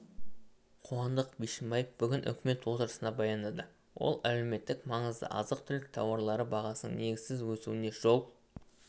қуандык бишімбаев бүгін үкімет отырысында баяндады ол әлеуметтік маңызды азық-түлік тауарлары бағасының негізсіз өсуіне жол